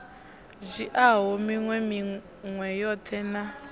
dzhiaho minwe minwe yoṱhe na